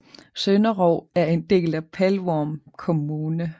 Sønderog er en del af Pelvorm kommune